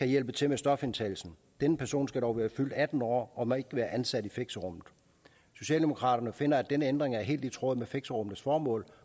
hjælpe til med stofindtagelsen denne person skal dog være fyldt atten år og må ikke være ansat i fixerummet socialdemokraterne finder at denne ændring er helt i tråd med fixerummenes formål